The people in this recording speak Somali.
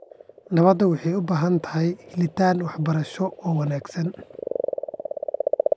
Nabadda waxay u baahan tahay helitaan waxbarasho oo wanaagsan.